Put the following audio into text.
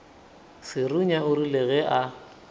serunya o rile ge a